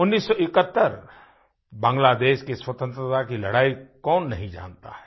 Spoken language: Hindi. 1971 मेंबांग्लादेश की स्वतंत्रता की लड़ाई कौन नहीं जानता है